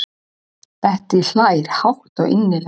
Bettý hlær hátt og innilega.